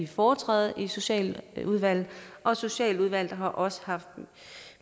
foretræde i socialudvalget og socialudvalget har også haft